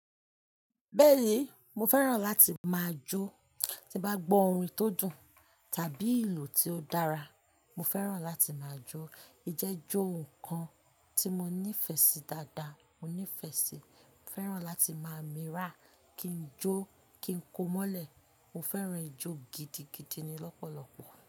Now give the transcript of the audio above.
Bẹ́ẹ̀ni, mo fẹ́ràn láti máa jó. Tí bá gbọ́ orin tó dùn tàbí ìlù tí ó dára, mo fẹ́ràn láti máa jó. Ìjọ jẹ ohun kan ti mo nífẹẹ sii daadaa, mo nífẹẹ sii, mo fẹràn lati maa miira, kii jo kii ko mọlẹ. Mo fẹ́ràn ijó gidigidi ni lọ́pọ̀lọ́pọ̀